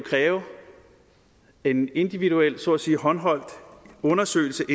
kræve en individuel så at sige håndholdt undersøgelse